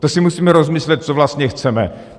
To si musíme rozmyslet, co vlastně chceme!